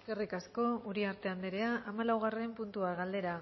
eskerrik asko uriarte andrea hamalaugarren puntua galdera